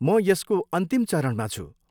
म यसको अन्तिम चरणमा छु।